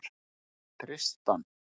Tristan